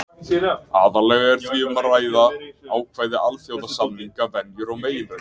Aðallega er því um að ræða ákvæði alþjóðasamninga, venjur og meginreglur.